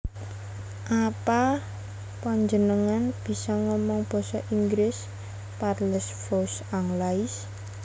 Apa panjenengan bisa omong basa Inggris Parlez vous anglais